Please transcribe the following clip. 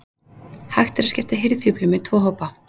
Hægt er að skipta hirðfíflum í tvo hópa.